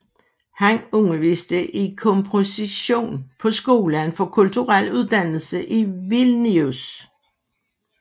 Han underviste i komposition på Skolen for Kulturel Uddannelse i Vilnius